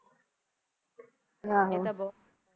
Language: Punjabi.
ਇਹ ਤਾਂ ਬਹੁਤ